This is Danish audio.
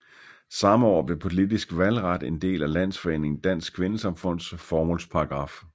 Samme år blev politisk valgret en del af landsforeningen Dansk Kvindesamfunds formålsparagraf